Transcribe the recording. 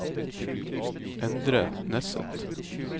Endre Nesset